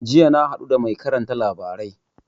Jiya na haɗu da mai karanta labarai